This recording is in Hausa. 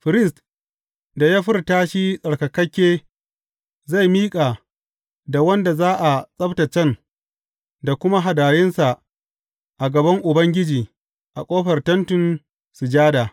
Firist da ya furta shi tsarkakakke zai miƙa da wanda za a tsabtaccen da kuma hadayunsa a gaban Ubangiji a ƙofar Tentin Sujada.